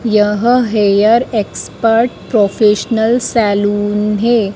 यह hair expert professional salon है।